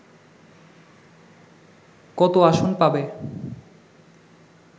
কত আসন পাবে